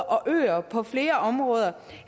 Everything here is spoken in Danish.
og øer på flere områder